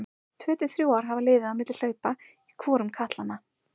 Tvö til þrjú ár hafa liðið á milli hlaupa í hvorum katlanna.